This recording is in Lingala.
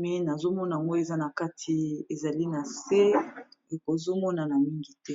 ma nazomona moi eza na kati ezali na se ekozomonana mingi te